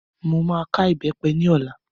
Mo máa ká ìbẹ́pẹ ní ọlá.